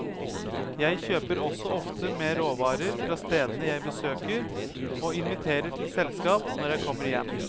Jeg kjøper også ofte med råvarer fra stedene jeg besøker, og inviterer til selskap når jeg kommer hjem.